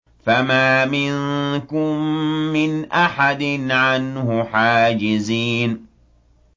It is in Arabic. فَمَا مِنكُم مِّنْ أَحَدٍ عَنْهُ حَاجِزِينَ